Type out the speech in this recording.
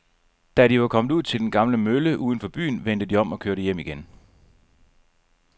Da de var kommet ud til den gamle mølle uden for byen, vendte de om og kørte hjem igen.